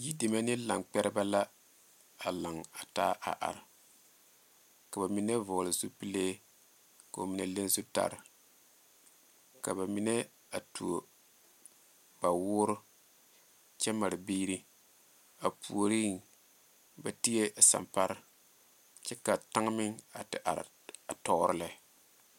Yi deme ne laŋ kpɛrebɛ la a laŋ a taa ka ba mine vɔgle zupele ko'o mine le zutara ka ba mine a tuo ba woɔre kyɛ mare biiri a puori ba ti la sanpare kyɛ ka kaŋa meŋ a te are tɔre lɛ.